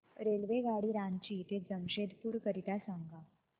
रेल्वेगाडी रांची ते जमशेदपूर करीता सांगा